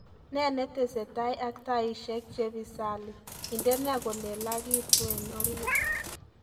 Ne netesetai ak taishek chepisali indene kolelagitueng orit